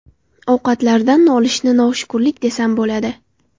Ovqatlaridan nolishni noshukurlik desam bo‘ladi.